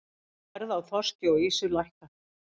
Verð á þorski og ýsu lækkað